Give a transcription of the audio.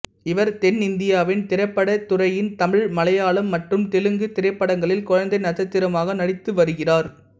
இவர் தென்னிந்தியாவின் திரைப்பட துறையின் தமிழ் மலையாளம் மற்றும் தெலுங்கு திரைப்படங்களில் குழந்தை நட்சத்திரமாக நடித்துவருகிறார்